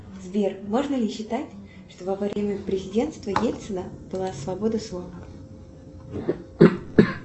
сбер можно ли считать что во время президентства ельцина была свобода слова